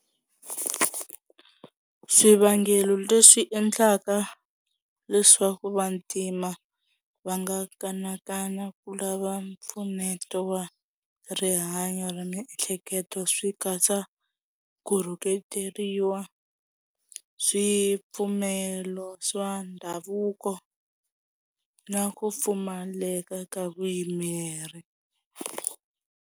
Swivangelo leswi endlaka leswaku vantima va nga kanakana ku lava mpfuneto wa rihanyo ra miehleketo swi katsa ku rhuketeriwa swipfumelo swa ndhavuko na ku pfumaleka ka vuyimeri.